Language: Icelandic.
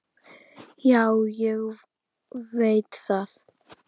Já, ég veit það!